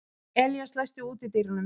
Elías, læstu útidyrunum.